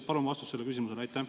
Palun vastust sellele küsimusele!